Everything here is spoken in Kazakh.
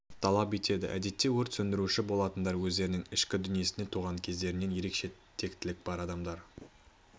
талап етеді әдетте өрт сөндіруші болатындар өздерінің ішкі дүниесінде туған кездерінен ерекше тектілік бар адамдар